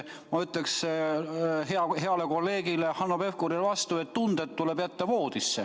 Ma ütleksin heale kolleegile Hanno Pevkurile vastu, et tunded tuleb jätta voodisse.